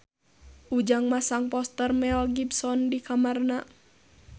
Ujang masang poster Mel Gibson di kamarna